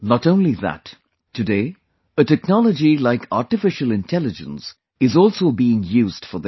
Not only that, today a technology like Artificial Intelligence is also being used for this